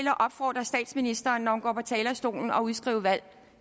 at opfordre statsministeren til når hun går på talerstolen at udskrive valg